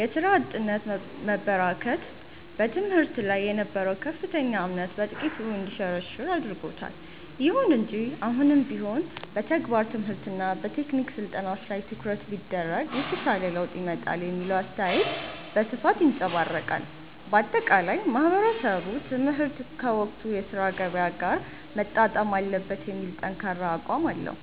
የሥራ አጥነት መበራከት በትምህርት ላይ የነበረውን ከፍተኛ እምነት በጥቂቱ እንዲሸረሸር አድርጎታል። ይሁን እንጂ አሁንም ቢሆን የተግባር ትምህርትና የቴክኒክ ስልጠናዎች ላይ ትኩረት ቢደረግ የተሻለ ለውጥ ይመጣል የሚለው አስተያየት በስፋት ይንፀባረቃል። ባጠቃላይ ማህበረሰቡ ትምህርት ከወቅቱ የሥራ ገበያ ጋር መጣጣም አለበት የሚል ጠንካራ አቋም አለው።